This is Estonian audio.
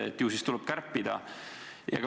Ju siis tuleb kärpida.